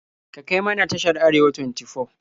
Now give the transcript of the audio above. Ka kai mana tashar Arewa 24.